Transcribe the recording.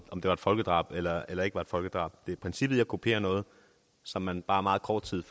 det var et folkedrab eller eller ikke var et folkedrab det er princippet med at kopiere noget som man bare meget kort tid